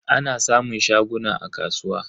Ana samun shaguna a kasuwa.